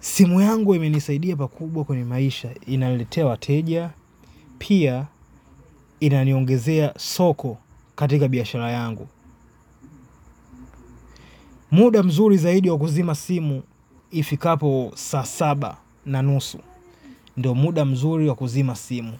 simu yangu imenisaidia pakubwa kwenye maisha inaniletea wateja pia inaniongezea soko katika biashara yangu muda mzuri zaidi wa kuzima simu ifi kapo saa saba na nusu ndo muda mzuri wa kuzima simu.